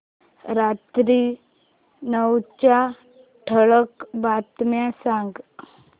रात्री नऊच्या ठळक बातम्या सांग